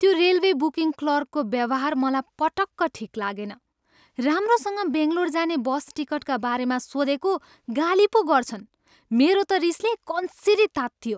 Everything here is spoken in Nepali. त्यो रेलवे बुकिङ क्लर्कको व्यवहार मलाई पटक्क ठिक लागेन। राम्रोसँग बङ्गलोर जाने बस टिकटका बारेमा सोधेको, गाली पो गर्छन्। मेरो त रिसले कन्सिरी तातियो।